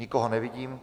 Nikoho nevidím.